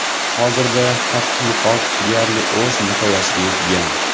Hozirda tadqiqot deyarli o‘z nihoyasiga yetgan.